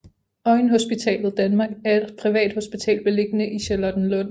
Øjenhospitalet Danmark er et privathospital beliggende i Charlottenlund